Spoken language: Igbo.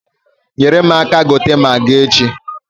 Nyere m aka gote magi echi.